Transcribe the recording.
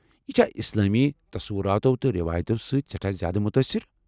یہ چھا اسلٲمی تصوراتو تہٕ رٮ۪وایتو سۭتۍ سیٹھاہ زیادٕ مُتٲثِر؟